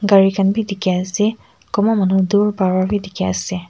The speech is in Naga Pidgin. gari khan bi dikhiase kunba manu dur para bi dikhiase.